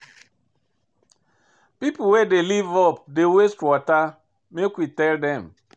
Pipo wey dey live up dey waste water, make we tell dem.